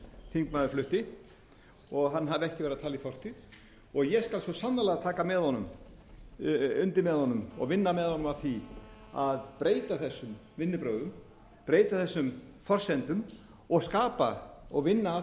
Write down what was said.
þingmaður flutti og hann hafi ekki verið að tala í fortíð ég skal svo sannarlega taka undir með honum og vinna með honum að því að breyta þessum vinnubrögðum breyta þessum forsendum og vinna að